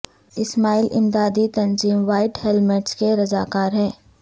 اسماعیل امدادی تنظیم White Helmets کے رضا کار ہیں